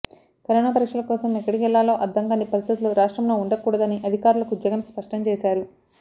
corona పరీక్షల కోసం ఎక్కడికెళ్లాలో అర్ధం కాని పరిస్ధితులు రాష్ట్రంలో ఉండకూడదని అధికారులకు జగన్ స్పష్టం చేశారు